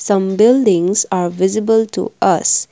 some buildings are visible to us.